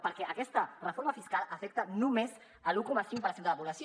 perquè aquesta reforma fiscal afecta només l’un coma cinc per cent de la població